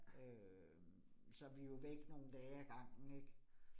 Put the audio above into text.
Øh så vi jo væk nogle dage ad gangen ik